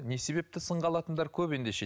не себепті сынға алатындар көп ендеше